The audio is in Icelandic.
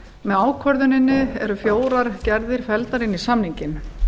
með ákvörðuninni eru fjórar gerðir felldar inn í samninginn